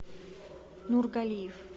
нургалиев